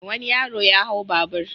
Wani yaro ya hau babur.